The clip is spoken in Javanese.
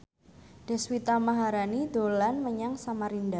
Deswita Maharani dolan menyang Samarinda